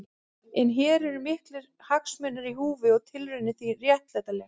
En hér voru miklir hagsmunir í húfi og tilraunin því réttlætanleg.